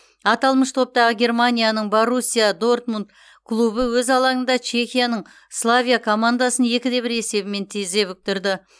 аталмыш топтағы германияның боруссия дортмунд клубы өз алаңында чехияның славия командасын екі де бір есебімен тізе бүктірді